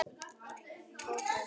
Gógó, hvað er klukkan?